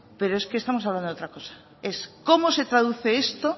pero es que estamos hablando de otra cosa es cómo se traduce esto